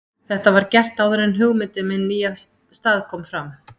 Þetta var gert áður en hugmyndin um hinn nýja stað kom fram.